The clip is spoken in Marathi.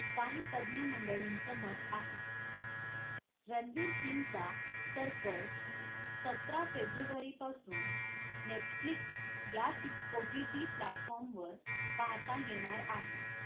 काही तज्ञ मंडळींचं मत आहे. रणबीर सिग चा सर्कस सतरा फेब्रुवारी पासुन netflix या OTT platform वर पाहता येणार आहे